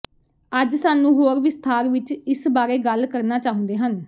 ਅੱਜ ਸਾਨੂੰ ਹੋਰ ਵਿਸਥਾਰ ਵਿੱਚ ਇਸ ਬਾਰੇ ਗੱਲ ਕਰਨਾ ਚਾਹੁੰਦੇ ਹਨ